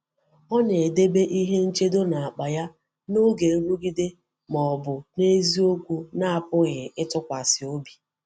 Ọ na-edebe ihe nchedo n’akpa ya n’oge nrụgide ma ọ bụ n’eziokwu na-apụghị ịtụkwasị obi.